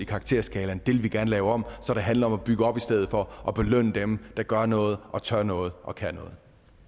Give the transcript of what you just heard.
karakterskalaen det vil vi gerne lave om så det handler om at bygge op i stedet for og belønner dem der gør noget og tør noget og kan noget